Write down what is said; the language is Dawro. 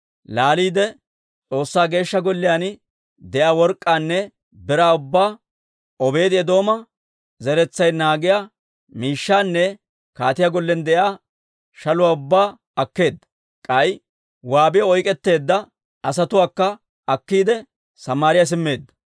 Laaliide S'oossaa Geeshsha Golliyaan de'iyaa work'k'aanne biraa ubbaa, Obeedi-Eedooma zeretsay naagiyaa miishshaanne kaatiyaa gollen de'iyaa shaluwaa ubbaa akkeedda; k'ay waabiyaw oyk'k'etteedda asatuwaakka akkiide, Samaariyaa simmeedda.